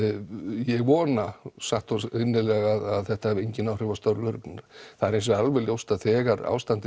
ég vona satt og innilega að þetta hafi engin áhrif á störf lögreglunnar það er hins vegar alveg ljóst að þegar ástandið